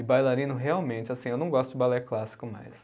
E bailarino, realmente, assim, eu não gosto de balé clássico mais.